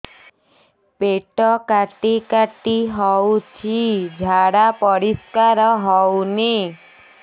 ପେଟ କାଟି କାଟି ହଉଚି ଝାଡା ପରିସ୍କାର ହଉନି